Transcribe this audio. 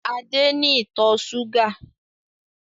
Adé ni ìtọ̀ ṣúgà